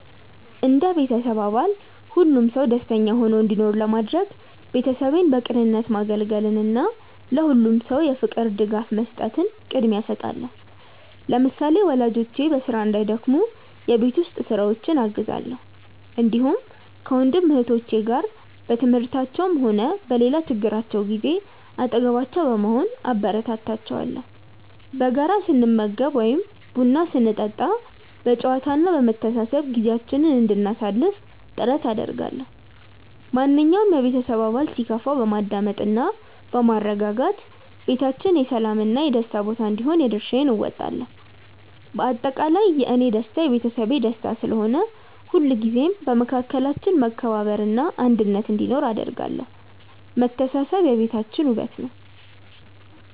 እንደ ቤተሰብ አባል ሁሉም ሰው ደስተኛ ሆኖ እንዲኖር ለማድረግ፣ ቤተሰቤን በቅንነት ማገልገልን እና ለሁሉም ሰው የፍቅር ድጋፍ መስጠትን ቅድሚያ እሰጣለሁ። ለምሳሌ፣ ወላጆቼ በስራ እንዳይደክሙ የቤት ውስጥ ስራዎችን አግዛለሁ፣ እንዲሁም ከወንድም እህቶቼ ጋር በትምህርታቸውም ሆነ በሌላ ችግራቸው ጊዜ አጠገባቸው በመሆን አበረታታቸዋለሁ። በጋራ ስንመገብ ወይም ቡና ስንጠጣ በጨዋታ እና በመተሳሰብ ጊዜያችንን እንድናሳልፍ ጥረት አደርጋለሁ። ማንኛውም የቤተሰብ አባል ሲከፋው በማዳመጥ እና በማረጋጋት ቤታችን የሰላም እና የደስታ ቦታ እንዲሆን የድርሻዬን እወጣለሁ። በአጠቃላይ፣ የእኔ ደስታ የቤተሰቤ ደስታ ስለሆነ፣ ሁልጊዜም በመካከላችን መከባበር እና አንድነት እንዲኖር አደርጋለሁ። መተሳሰብ የቤታችን ውበት ነው።